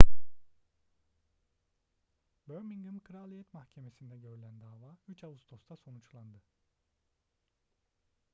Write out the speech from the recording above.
birmingham kraliyet mahkemesi'nde görülen dava 3 ağustos'ta sonuçlandı